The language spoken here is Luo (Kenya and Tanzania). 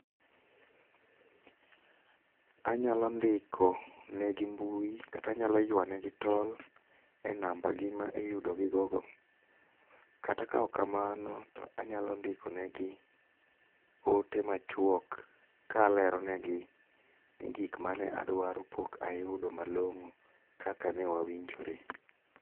Anyalo ndiko ne gi mbui kata anyalo ywane gi tol e namba gi ma iyudo gi go go. Kata ka ok kamano to anyalo ndiko ne gi ote machuok kalero ne gi ni gik mane adwaro pok ayudo malong'o kaka ne wawinjore.